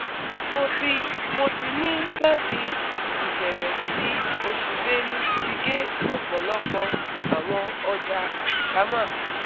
Mo ti Mo ti ni lati ibẹrẹ ti osu Belu ti ge ọpọlọpọ awọn ọja alikama